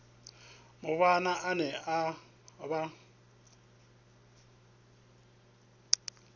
mubvann ḓa ane a vha